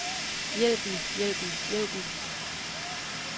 hjælpen hjælpen hjælpen